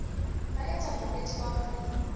ba etsa bonnete ba hore